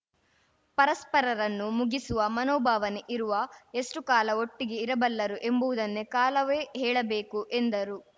ಪರಸ್ಪರರನ್ನು ಮುಗಿಸುವ ಮನೋಭಾವನೆ ಇರುವ ಎಷ್ಟುಕಾಲ ಒಟ್ಟಿಗೆ ಇರಬಲ್ಲರು ಎಂಬುವುದನ್ನೇ ಕಾಲವೇ ಹೇಳಬೇಕು ಎಂದರು